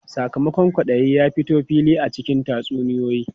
Sakamakon kwaɗayi ya fito fili a cikin tatsuniyoyi.